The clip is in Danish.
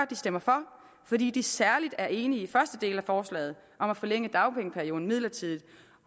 de stemmer for fordi de især er enige i den første del af forslaget om at forlænge dagpengeperioden midlertidigt